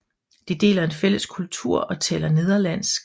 De deler en fælles kultur og taler nederlandsk